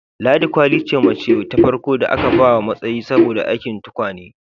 Ladi kwali ce macce ta farko da aka ba matsayi saboda aikin tukwane